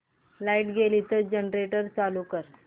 light गेली तर generator चालू कर